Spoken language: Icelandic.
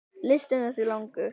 Listinn er því langur.